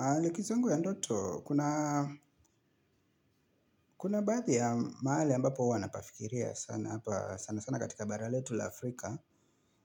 Aa likizo yangu ya ndoto, kuna baadhi ya mahali ambapo uwa anapafikiria sana, sana sana katika bara letu la Afrika